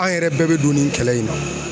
An yɛrɛ bɛɛ bɛ don nin kɛlɛ in na.